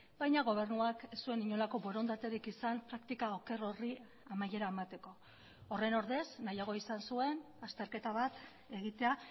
baina gobernuak ez zuen inolako borondaterik izan praktika oker horri amaiera emateko horren ordez nahiago izan zuen azterketa bat egitea